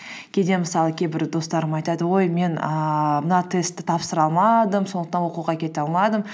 кейде мысалы кейбір достарым айтады ой мен ііі мына тестті тапсыра алмадым сондықтан оқуға кете алмадым